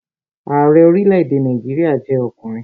Ààrẹ orílẹ̀-èdè Nàìjíríà jẹ́ ọkùnrin